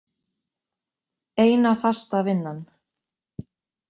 Eina fasta vinnan.